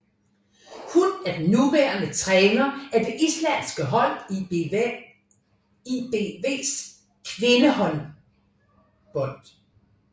Hun er den nuværende træner af det islandske hold ÍBVs kvindehåndboldhold